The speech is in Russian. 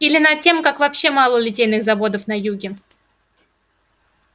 или над тем как вообще мало литейных заводов на юге